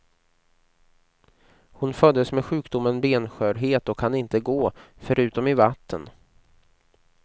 Hon föddes med sjukdomen benskörhet och kan inte gå, förutom i vatten.